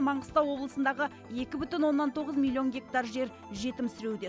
маңғыстау облысындағы екі бүтін оннан тоғыз миллион гектар жер жетімсіреуде